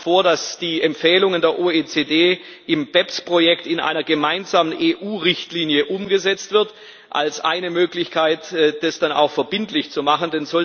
Wir schlagen vor, dass die Empfehlungen der OECD im BEPS Projekt in einer gemeinsamen EU Richtlinie umgesetzt werden als eine Möglichkeit, das dann auch verbindlich zu machen.